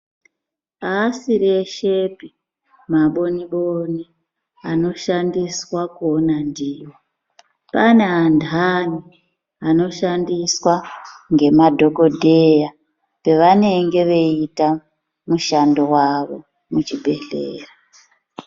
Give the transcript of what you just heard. Aasiri eshepi maboni boni anoshandiswa kuona ndiwo. Pane anhani anoshandiswa ngemadhokodheya pavanenge veiita mushando wavo muchibhendleya.